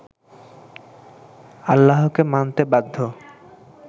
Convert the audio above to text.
আল্লাহকে মানতে বাধ্য